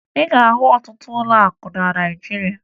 Ị ga-ahụ ọtụtụ ụlọakụ na Naịjirịa